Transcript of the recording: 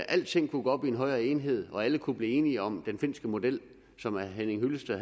alting kunne gå op i en højere enhed og alle kunne blive enige om den finske model som herre henning hyllested